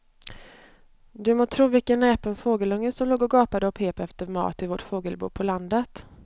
Du må tro vilken näpen fågelunge som låg och gapade och pep efter mat i vårt fågelbo på landet.